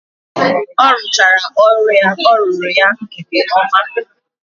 Orụchaara ọrụ ya ọ rụru ya nke oma.